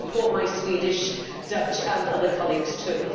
So I support my Swedish, Dutch and other colleagues too.